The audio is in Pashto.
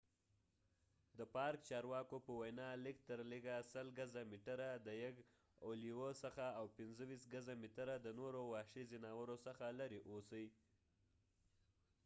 د پارک چارواکو په وینا، لږترلږه ۱۰۰ ګزه/میټره د یږ، او لیوه څخه او 25 ګزه/متره د نورو وحشي ځناورو څخه لرې اوسئ!